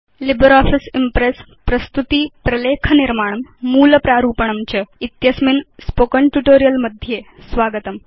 LibreOffice Impress प्रस्तुति प्रलेख निर्माणं मूल प्रारूपणं च इत्यस्मिन् स्पोकेन ट्यूटोरियल् मध्ये स्वागतम्